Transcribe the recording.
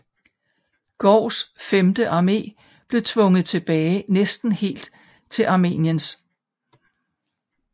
Goughs femte armé blev tvunget tilbage næsten helt til Amiens